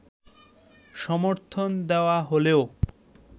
সমর্থন দেওয়া হলেও